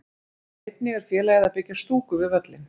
Einnig er félagið að byggja stúku við völlinn.